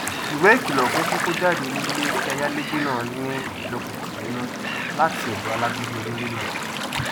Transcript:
ìwé ìkìlọ fún kíkó jáde kúrò nílé tí ayálégbé náà ní ìgbóguntì nínú latí ọdọ alágídí onílé náà